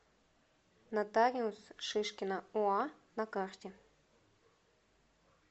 нотариус шишкина оа на карте